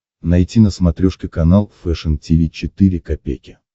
найти на смотрешке канал фэшн ти ви четыре ка